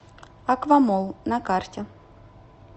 аквамолл на карте